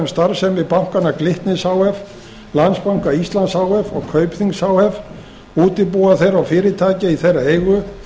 starfsemi bankanna glitnis h f landsbanka íslands h f og kaupþings h f útibúa þeirra og fyrirtækja í þeirra eigu